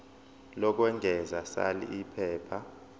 lokwengeza sal iphepha